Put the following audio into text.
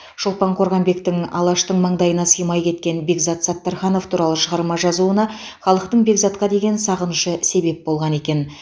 шолпан қорғанбектің алаштың маңдайына сыймай кеткен бекзат саттарханов туралы шығарма жазуына халықтың бекзатқа деген сағынышы себеп болған екен